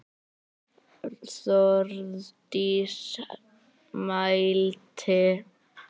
Þórdís mælti: